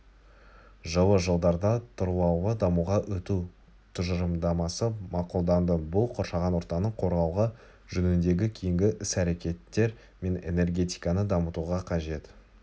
жылы жылдарда тұрлаулы дамуға өту тұжырымдамасы мақұлданды бұл қоршаған ортаны қорғау жөніндегі кейінгі іс-рекеттер мен энергетиканы дамытуға қажет